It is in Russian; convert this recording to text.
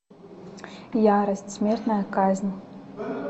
ярость смертная казнь